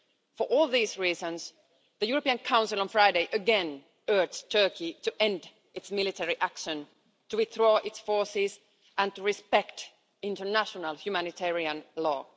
For all these reasons, the European Council on Friday again urged Turkey to end its military action to withdraw its forces and respect international humanitarian law.